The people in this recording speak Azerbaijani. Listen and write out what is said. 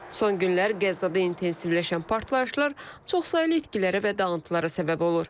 Son günlər Qəzzada intensivləşən partlayışlar çoxsaylı itkilərə və dağıntılara səbəb olur.